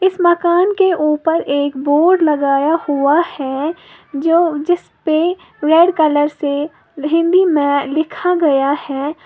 मकान के ऊपर एक बोर्ड लगाया हुआ है जो जिस पर रेड कलर से हिंदी में लिखा गया है।